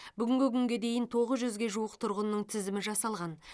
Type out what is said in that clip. бүгінгі күнге дейін тоғыз жүзге жуық тұрғынның тізімі жасалған